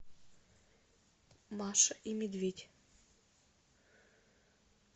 маша и медведь